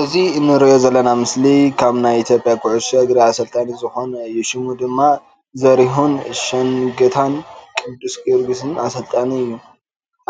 እዚ እንርእዮ ዘለና ምስሊ ካብ ናይ ኢትዮጵያ ኩዕሾ እግሪ ኣሰልጣኒ ዝኮነ እዩ። ሽሙ ድማ ዘሪሁን ሸንገታን ቅዱስ ጊዮርግስ ኣሰልጣኒ እዩ።